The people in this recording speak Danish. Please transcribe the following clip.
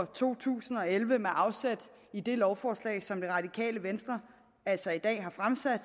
to tusind og elleve med afsæt i det lovforslag som det radikale venstre altså i dag har fremsat